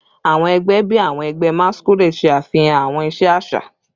Awọn ẹgbẹ bii awọn ẹgbẹ masquerade ṣe afihan awọn iṣe aṣa